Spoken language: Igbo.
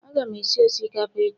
Aga m esi osikapa echi